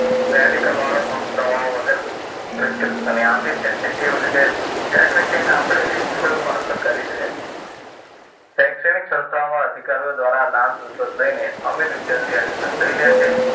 Medical વાળો પણ દવા વગર પ્રિસ્ક્રિપ્શન આપી દે છે. એવી રીતે ક્યાંક ને ક્યાંક આપણી જોલ માલ તો કરી જ રહ્યા છીએ. શૈક્ષણિક સંસ્થાઓમાં અધિકારીઓ દ્વારા લાંચ રિશ્વત લઈને અમીર વિદ્યાર્થી એડમિશન લઈ લે છે.